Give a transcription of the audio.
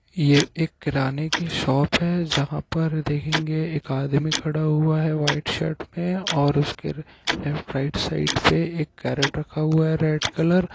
ये एक किराने की शॉप है जहा पर देखेगे एक आदमी खड़ा हुआ हे वाइट शर्ट और उसके के लेफ्ट राईट साइड में एक केरेट रखा हुआ रेड कलर --